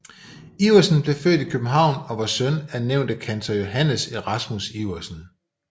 Iversen blev født i København og var søn af nævnte kantor Johannes Erasmus Iversen